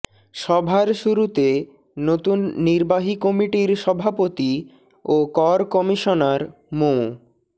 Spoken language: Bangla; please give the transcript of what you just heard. সভার শুরুতে নতুন নির্বাহী কমিটির সভাপতি ও কর কমিশনার মো